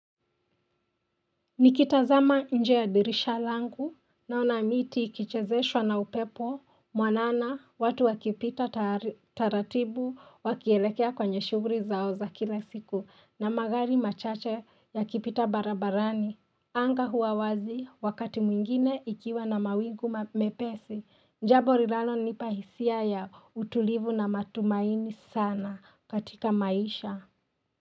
Nikitazama nje ya dirisha langu naona miti ikichezeshwa na upepo mwanana watu wakipita taratibu wakielekea kwenye shughuli zao za kila siku na magari machache yakipita barabarani. Anga huwa wazi wakati mwingine ikiwa na mawingu mepesi. Jambo linalo nipa hisia ya utulivu na matumaini sana katika maisha.